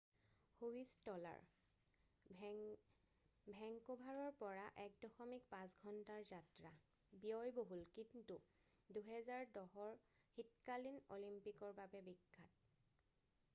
Whistler ভেংকুভাৰৰ পৰা ১.৫ ঘন্টাৰ যাত্ৰা ব্যয়বহুল কিন্তু ২০১০ ৰ শীতকালীন অলিম্পিকৰ বাবে বিখ্যাত।